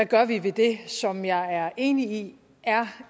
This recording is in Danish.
gør ved det som jeg er enig i er